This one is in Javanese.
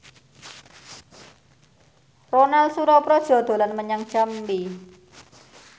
Ronal Surapradja dolan menyang Jambi